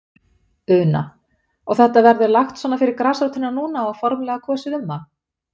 Una: Og þetta verður lagt svona fyrir grasrótina núna og formlega kosið um það?